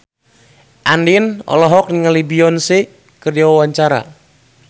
Andien olohok ningali Beyonce keur diwawancara